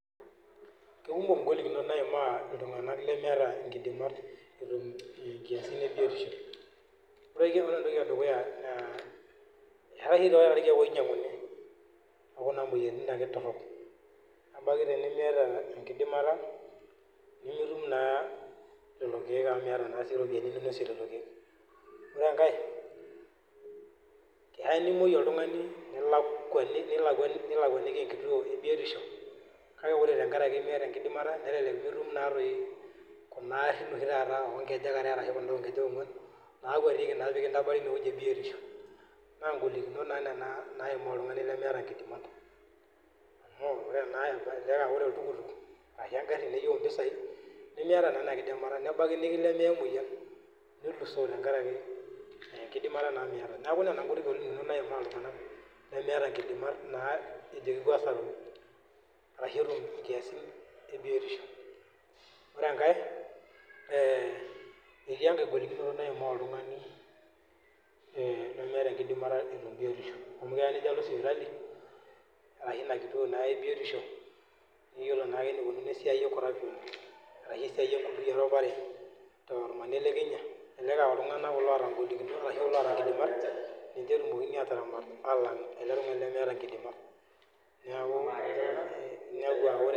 Kekumok ing'olikinot naimaa iltung'anak lemeeta inkidimat etum inkiasin e biotishu. Ore entoki e dukuya, eetai oshi taata irkeek oinyang'uni e kuna moyiaritin ake torok nebaiki tenimiyata enkidimata nemitum naa lelo keek amu miyata naa sii iropiani ninosie lelo keek. Ore enkae keya nimueyu oltung'ani nilakuani nilakua nilakuaniki enkituo e biotisho kake kore tenkaraki miyata enkidimata nelelek mitum naa toi kuna arin oshi taata oo nkejek are ashu kunda oo nkejek ong'uan naakwetieki naa pee kintabari ine wueji e biotishu naa ing'olikinit naa nena naimaa oltung'ani lemeeta inkidimat amu ore naa elelek aa ore oltukutuk ashe eng'ari neyeu impisai, nemiyata naa ina kidimata nebaki nikilemea emueyian nilusoo tenkaraki ee enkidimata naa miyata. Neeeku nena ng'olikinot naimaa iltung'anak lemeeta inkidimat naa ejo kipuo aasaru arashe etum inkiasin e biotishu. Ore enkae ee etii enkae golikinito naimaa oltung'ani ee lemeeta enkidimata etum biotishu amu keya nejo alo sipitali arashu ina kituo naa e biotisho niyiolo naa enikunono esiai ee corruption arashe esiai e erupare tormanir le Kenya, elelek aa iltung; anak kulo oata ing'olikinot arashu loata inkidimat ninche etumokini aataramat aalang' ele tung'ani leeta inkidimat, neeku...